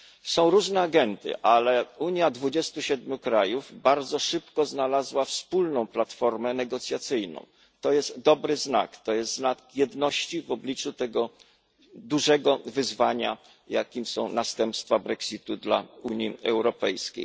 Są różne agendy, ale Unia 27 krajów bardzo szybko znalazła wspólną platformę negocjacyjną to jest dobry znak, to jest znak jedności w obliczu tego dużego wyzwania, jakim są następstwa Brexitu dla Unii Europejskiej.